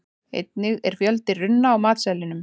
einnig er fjöldi runna á matseðlinum